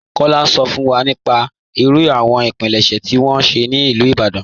Kọla n sọ fún wa nípà ìrú àwọn ìpílẹ̀ṣẹ̀ tí wọn ṣẹ̀ ní Ilú Ìbàdàn..